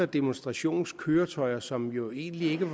demonstrationskøretøj som jo egentlig ikke